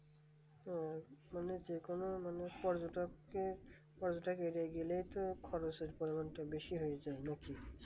ও মানে যেকোন মানে পর্যটক ওখানে গেলেই তো খাওয়া-দাওয়া টা বেশি হয়ে যায় নাকি